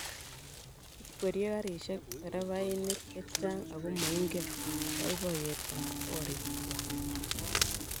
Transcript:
ikwerie karishek terevainik chechang ago maingen boiboiyetab borik kwai